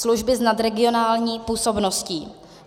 Služby s nadregionální působností.